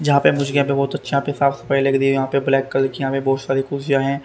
जहां पे पहुंच गया पर बहुत ब्लैक कलर की बहुत सारी कुर्सियां है।